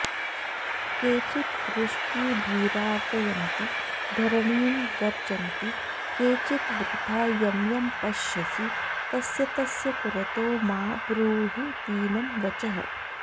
केचिद्वृष्टीभिरार्दयन्ति धरणीं गर्जन्ति केचिद्वृथा यं यं पश्यसि तस्य तस्य पुरतो मा ब्रूहि दीनं वचः